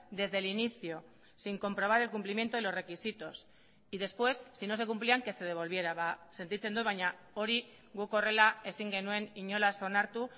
desde el inicio sin comprobar el cumplimiento de los requisitos y después si no se cumplían que se devolviera sentitzen dut baina hori guk horrela ezin genuen inolaz onartu